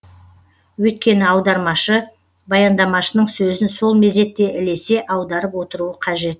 өйткені аудармашы баяндамашының сөзін сол мезетте ілесе аударып отыруы қажет